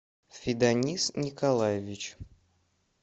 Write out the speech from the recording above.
фиданис николаевич